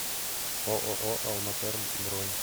ооо алматерм бронь